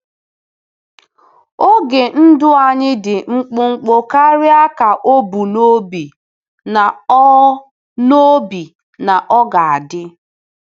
Oge ndụ anyị dị mkpụmkpụ karịa ka o bu n'obi na ọ n'obi na ọ ga-adị.